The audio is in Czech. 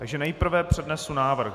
Takže nejprve přednesu návrh.